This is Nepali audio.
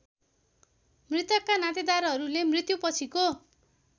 मृतकका नातेदारहरूले मृत्युपछिको